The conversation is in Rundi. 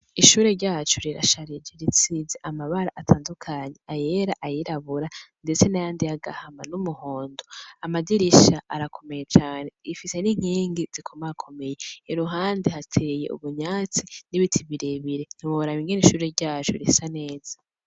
Ushure ryacu rirasharije, risiz' amabar' atandukanye, ayera, ayirabura, ndetse n' ayandi yagahama, n' umuhondo, amadirish 'arakomeye cane, rifise n' inkingi zikomakomeye, iruhande hatey' ivyatsi n ibiti birebire, ntiworaba ingen' ishure ryacu risa neza.